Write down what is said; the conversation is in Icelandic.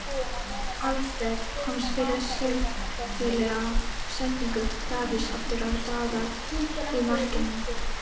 Alfreð komst fyrir skelfilega sendingu Davíðs aftur á Daða í markinu.